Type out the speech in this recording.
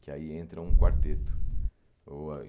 Que aí entra um quarteto.